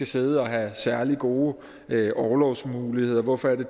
sidde og have særlig gode orlovsmuligheder hvorfor